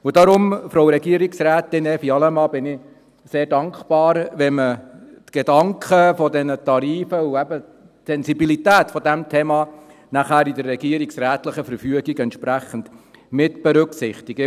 Deshalb, Frau Regierungsrätin Evi Allemann, bin ich sehr dankbar, wenn man die Gedanken um diese Tarife und eben die Sensibilität dieses Themas nachher in der regierungsrätlichen Verfügung entsprechend mitberücksichtigt.